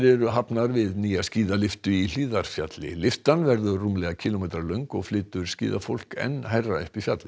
eru hafnar við nýja skíðalyftu í Hlíðarfjalli lyftan verður rúmlega kílómetra löng og flytur skíðafólk enn hærra upp í fjallið